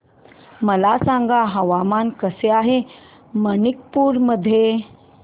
मला सांगा हवामान कसे आहे मणिपूर मध्ये